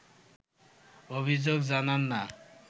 অভিযোগ জানান না